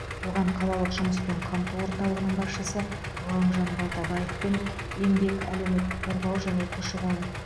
оған қалалық жұмыспен қамту орталығының басшысы ғалымжан балтабаев пен еңбек әлеуметтік қорғау және көші қон